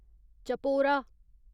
Chapora